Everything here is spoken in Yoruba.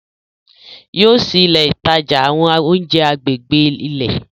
Yóò ṣìí ìlẹ̀ ìtajà àwọn ọ̀unjẹ̀ àgbègbè ilẹ̀.